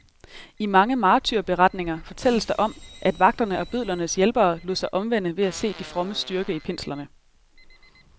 I mange martyrberetninger fortælles der om, at vagterne og bødlernes hjælpere lod sig omvende ved at se de frommes styrke i pinslerne.